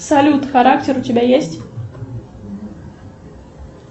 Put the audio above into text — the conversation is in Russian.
салют характер у тебя есть